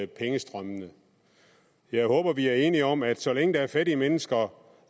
pengestrømmene jeg håber at vi er enige om at så længe der er fattige mennesker